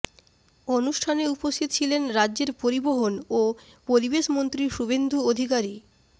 অনুষ্ঠানে উপস্থিত ছিলেন রাজ্যের পরিবহন ও পরিবেশ মন্ত্রী শুভেন্দু অধিকারী